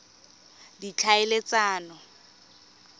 ditlhaeletsano